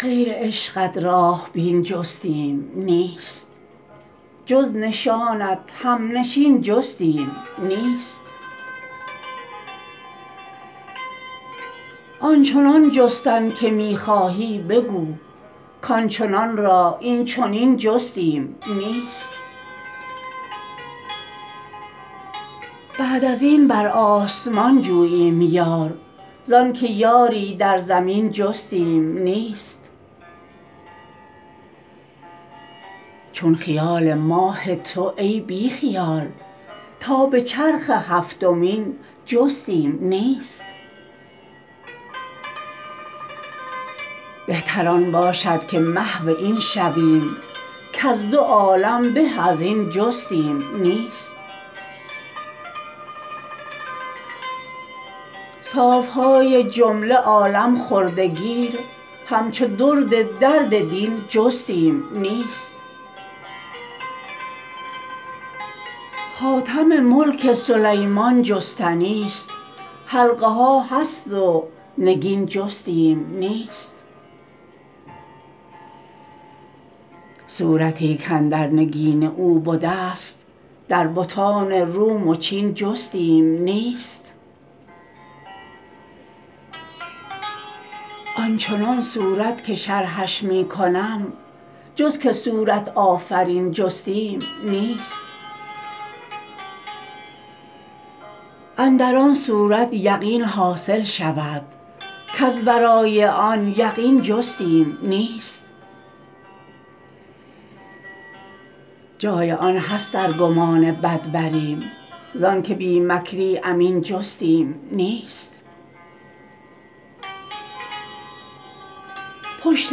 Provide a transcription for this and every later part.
غیر عشقت راه بین جستیم نیست جز نشانت همنشین جستیم نیست آن چنان جستن که می خواهی بگو کان چنان را این چنین جستیم نیست بعد از این بر آسمان جوییم یار زانک یاری در زمین جستیم نیست چون خیال ماه تو ای بی خیال تا به چرخ هفتمین جستیم نیست بهتر آن باشد که محو این شویم کز دو عالم به از این جستیم نیست صاف های جمله عالم خورده گیر همچو درد درد دین جستیم نیست خاتم ملک سلیمان جستنیست حلقه ها هست و نگین جستیم نیست صورتی کاندر نگین او بدست در بتان روم و چین جستیم نیست آن چنان صورت که شرحش می کنم جز که صورت آفرین جستیم نیست اندر آن صورت یقین حاصل شود کز ورای آن یقین جستیم نیست جای آن هست ار گمان بد بریم ز آنک بی مکری امین جستیم نیست پشت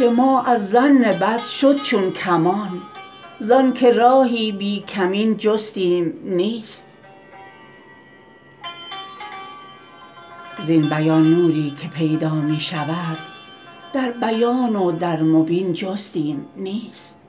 ما از ظن بد شد چون کمان زانک راهی بی کمین جستیم نیست زین بیان نوری که پیدا می شود در بیان و در مبین جستیم نیست